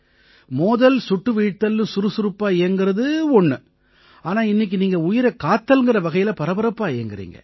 மோதல்சுட்டு வீழ்த்தல்னு சுறுசுறுப்பா இயங்கறது ஒண்ணு ஆனா இன்னைக்கு நீங்க உயிரைக் காத்தல்ங்கற வகையில பரபரப்பா இயங்கறீங்க